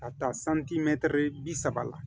Ka taa santimɛtiri bi saba la